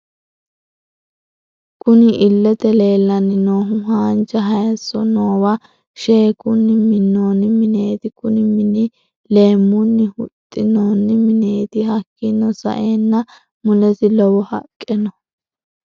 Kunni illete leelani noohu haanja hayiiso noowo sheekunni minoonni mineeti kunni mini leemuni huxamino mineeti hakiino sa'eena mulesi lowo haqqe no.